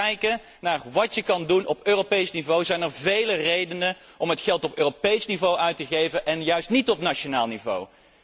Als je gaat kijken naar wat kan op Europees niveau, zijn er vele redenen om het geld op Europees niveau uit te geven en juist niet op nationaal niveau.